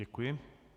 Děkuji.